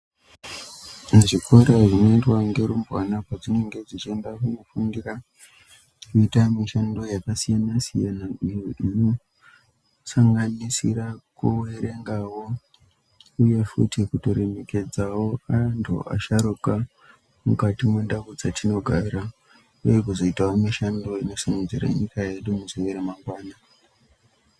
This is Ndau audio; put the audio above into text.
Muzvikora zvinoendwa ngerumbwana pedzinenga dzechienda kunofundira kuita mishando yakasiyana siyana iyo inosanganisira kuverengawo uye futi kutoremekedzawo antu asharuka mukati memundau dzatinogara uye kuzoitawo mishando inosimudzirawo nyika yedu mune ramangwana.